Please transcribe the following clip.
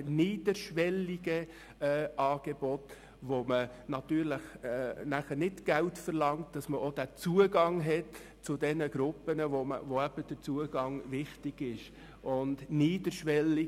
Es wird für diese Angebote kein Geld verlangt, um den Zugang zu denjenigen Gruppen zu finden, in deren Fall es äusserst wichtig ist, diesen Zugang zu finden.